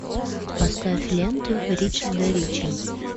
поставь ленту ричарда рича